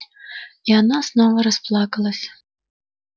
и она снова расплакалась